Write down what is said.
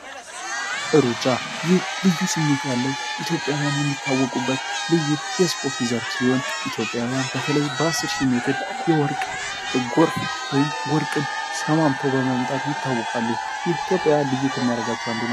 ሩጫ ይህ ልዩ ስሜት ያለው ኢትዮጵያውያን የሚታወቁበትን ልዩ የስፖርት ዘርፍ ሲሆን፤ ኢትዮጵያውያን በተለይ በ 10000 ሜትር የወርቅ በጎርፍ ወይም ወርቅን ሰማምተው በማምጥት ይታወቃሉ። ይህ ኢትዮጵያ ልዩ ከሚያደርጋቸው አንዱ ነው።